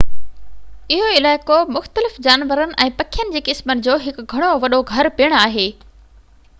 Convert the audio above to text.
اهو علائقو مختلف جانورن ۽ پکين جي قسمن جو هڪ گهڻو وڏو گهر پڻ آهي